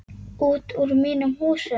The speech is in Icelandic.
Út úr mínum húsum!